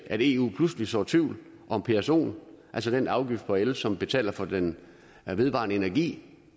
at eu pludselig sår tvivl om psoen altså den afgift på el som man betaler for den vedvarende energi